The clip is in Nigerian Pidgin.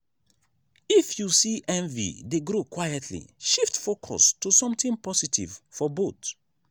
if you see envy dey grow quietly shift focus to something positive for both.